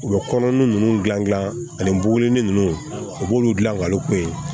U bɛ kɔnɔnin ninnu dilan ani bugu ni nunnu u b'olu dilan ka olu kun ye